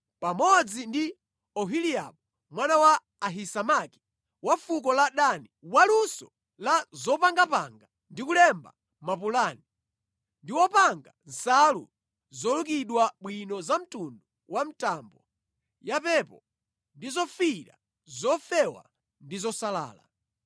pamodzi ndi Oholiabu mwana wa Ahisamaki, wa fuko la Dani, wa luso la zopangapanga ndi kulemba mapulani, ndi wopanga nsalu zolukidwa bwino za mtundu wa mtambo, yapepo ndi zofiira, zofewa ndi zosalala.